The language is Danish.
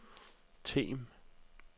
Them